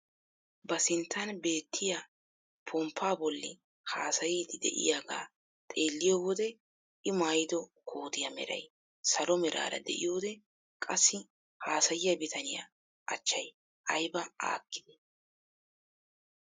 Ba sinttan beettiyaa ponppaa bolli haasayiidi de'iyaagaa xeelliyo wode i maayido kootiyaa meray salo meraara de'iyoode qassi haasayiyaa bitaniyaa achchay ayba aakkidee!